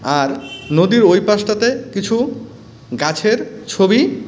আর নদীর ওই পাশটাতে কিছু গাছের ছবি--